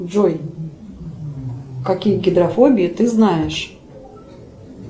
джой какие гидрофобии ты знаешь